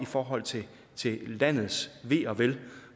forhold til landets ve og vel